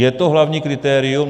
Je to hlavní kritérium?